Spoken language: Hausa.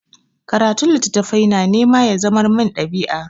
Karatun littattafai na nema ya zamar min ɗabi'a.